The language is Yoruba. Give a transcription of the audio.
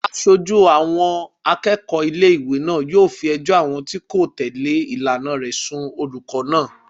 Aṣojú ọkùnrin àwọn akẹ́kọ̀ọ́ ilé-ìwé náà yóò fi ẹjọ́ àwọn tí kò tẹ̀lé ìlànà rẹ̀ sùn olùkọ́ náà